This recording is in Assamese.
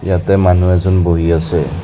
ইয়াতে মানুহ এজন বহি আছে।